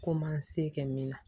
Ko man se kɛ min na